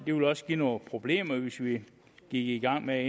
ville også give nogle problemer hvis vi gik i gang med